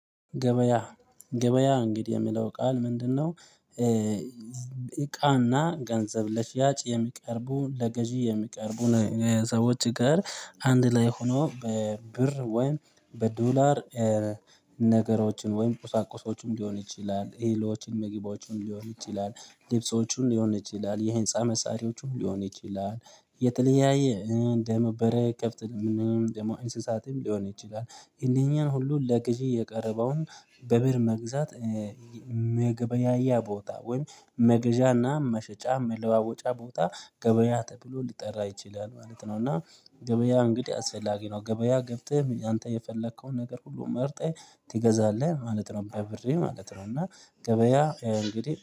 ገበያ ገበያ እንግዲህ የሚለው ቃል ምንድነው? እቃና ገንዘብ ለሽያጭ የሚቀርቡ ለገዢ የሚቀርቡ ሰዎች ጋር አንድ ላይ ሆኖ በብር ወይም በዶላር። ነገሮችን ወይም ቁሳቁሶችን ሊሆን ይችላል እሎችን ምግቦችን ሊሆን ይችላል ልብሶቹን ሊሆን ይችላል የህንፃ መሳሪያዎቹን ሊሆን ይችላል። የተለያየ እንደመበረ ከፍተንም ደግሞ ኢንስሳትም ሊሆን ይችላል እነኚህን ሁሉ ለግዢ የቀረበውን በብር መግዛት። መገበያያ ቦታ ወይም መገዣና መሸጫ መለዋወጫ ቦታ ገበያ ተብሎ ሊጠራ ይችላል ማለት ነው። እና ገበያ እንግዲህ አስፈላጊ ነው ገበያ ገብተህ አንተ የፈለከውን ነገር ሁሉ መርጠህ ትገዛለህ ማለት ነው በብርህ ማለት ነው። እና ገበያ እንግዲህ